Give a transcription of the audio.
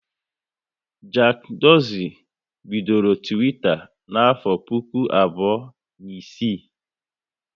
Jack Dorsey bidoro Twitter n'afọ puku abụọ na isii